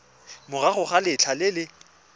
morago ga letlha le le